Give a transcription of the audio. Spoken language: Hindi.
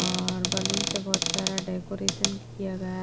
और बलून से बहुत प्यारा डेकोरेशन किया गया--